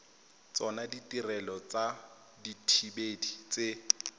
tsona ditirelo tsa dithibedi tse